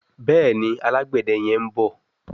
Béèni Alágbède yén bó.